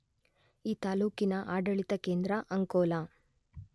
ಈ ತಾಲ್ಲೂಕಿನ ಆಡಳಿತ ಕೇಂದ್ರ ಅಂಕೋಲ.